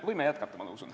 Võime jätkata, ma usun.